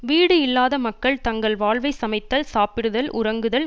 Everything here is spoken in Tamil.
வீடு இல்லாத மக்கள் தங்கள் வாழ்வை சமைத்தல் சாப்பிடுதல் உறங்குதல்